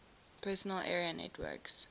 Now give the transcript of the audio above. personal area networks